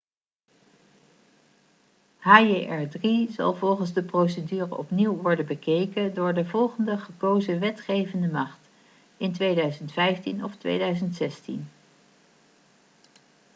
hjr-3 zal volgens de procedure opnieuw worden bekeken door de volgende gekozen wetgevende macht in 2015 of 2016